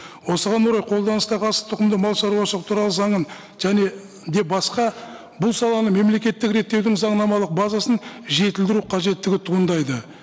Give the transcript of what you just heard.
осыған орай қолданыстағы асылтұқымды малшаруашылық туралы заңын және де басқа бұл саланы мемлекеттік реттеудің заңнамалық базасын жетілдіру қажеттігі туындайды